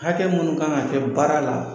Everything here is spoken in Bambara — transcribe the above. Hakɛ munnu kan ka kɛ baara la